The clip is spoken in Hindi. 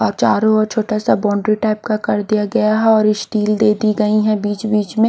और चारों ओर छोटा सा बाउंड्री टाइप का कर दिया गया है और यह स्टील दे दी गई है बीच-बीच में--